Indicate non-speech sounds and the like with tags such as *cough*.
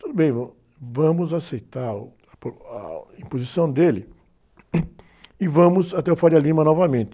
Tudo bem, *unintelligible* vamos aceitar o, a, *unintelligible* a imposição dele e vamos até o *unintelligible* novamente.